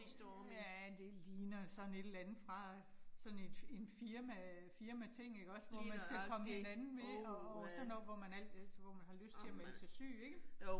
Ja det ligner sådan et eller andet fra sådan et en firma firmating ikke også, hvor man skal komme hinanden ved, og og sådan noget, hvor man altid, altså hvor man har lyst til at melde sig syg ikke?